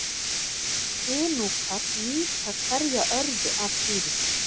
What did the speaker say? Inúkar nýta hverja örðu af dýrinu.